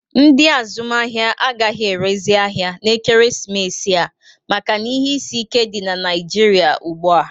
Ndị azụmahịa agaghị erezi ahịa n'ekeresimesi a maka ihe isi ike dị na Naịjịrịa ugbu a.